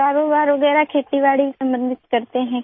کاروبار وغیرہ کھیت باڑی سے متعلق کاروبار کرتے ہیں